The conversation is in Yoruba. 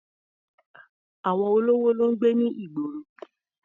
Àwọn olówó ló ń gbé ní ìgboro.